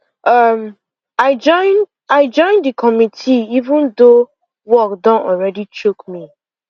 um i join the i join the committee even though work don already choke me